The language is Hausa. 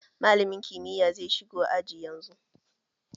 Malamin kimiyya zai shigo aji yanzu